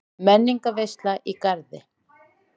Menningarveisla í Garði